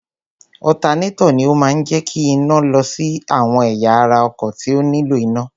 Ọ̀tanátọ̀ ni ó máa ń jẹ́ kí iná lọ sí àwọn ẹ̀yà ara ọkọ̀ tí ó nílò iná.